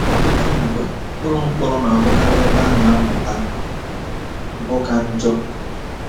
Ọtụtụ mgbe, ụlọ mkpọrọ na-abụkarị ebe a na-amụta mpụ ka njọ.